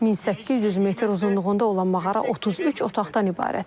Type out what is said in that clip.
1800 metr uzunluğunda olan mağara 33 otaqdan ibarətdir.